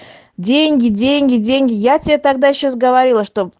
деньги деньги деньги я тебе тогда сейчас говорила что